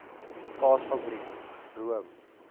kaas fabrieke room